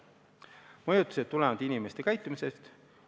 Mõjutused tulevad inimeste käitumisest.